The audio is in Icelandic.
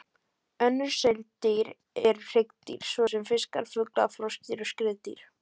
Önnur seildýr eru hryggdýr, svo sem fiskar, fuglar, froskdýr og skriðdýr.